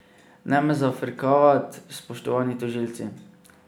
Ne me zafrkavat, spoštovani tožilci.